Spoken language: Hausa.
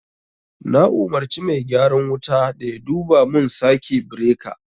Na umarci mai gyaran wuta da yaduba mun sake beraka